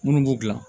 Minnu b'u dilan